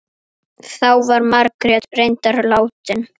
Guðjón á Látrum.